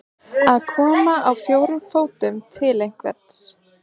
Að koma á fjórum fótum til einhvers